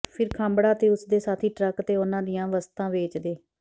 ਫਿਰ ਖਾਂਬੜਾ ਤੇ ਉਸ ਦੇ ਸਾਥੀ ਟਰੱਕ ਤੇ ਉਨ੍ਹਾਂ ਦੀਆਂ ਵਸਤਾਂ ਵੇਚਦੇ